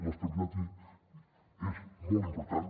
l’estabilitat és molt important